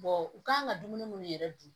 u kan ka dumuni minnu yɛrɛ dun